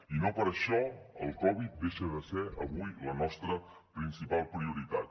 i no per això el covid deixa de ser avui la nostra principal prioritat